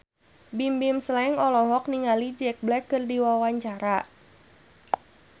Bimbim Slank olohok ningali Jack Black keur diwawancara